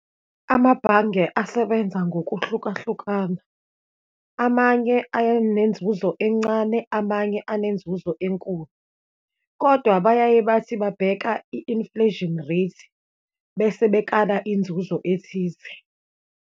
Amabhange asebenza ngokuhlukahlukana, amanye ayenenzuzo encane, amanye anenzuzo enkulu. Kodwa bayaye bathi babheka i-inflation rate, bese bekala inzuzo ethize.